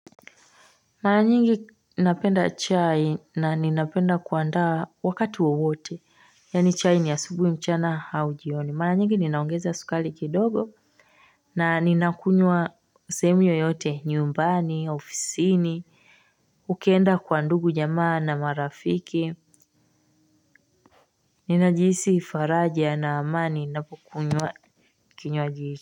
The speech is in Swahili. Mara nyingi napenda chai na ninapenda kuandaa wakati wowote, yani chai ni asubui mchana hau jioni, mara nyingi ninaongeza sukali kidogo na ninakunywa sehemu yoyote nyumbani, ofisiini, ukienda kwa ndugu jamaa na marafiki. Ninajihisi faraja na amani ninapokunywa kinywaji. Kwa hivyo.